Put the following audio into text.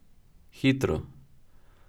Hitro!